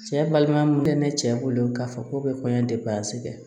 Cɛ balima mun bɛ ne cɛ bolo k'a fɔ k'o bɛ kɔɲɔ de baasi kɛ